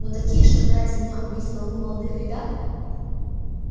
но такие чтобы ради меня убить толпу молодых ребят